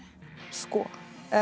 sko